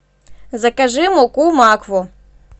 закажи муку макфу